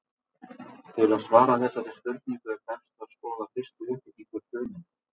Til að svara þessari spurningu er best að skoða fyrst uppbyggingu frumeinda.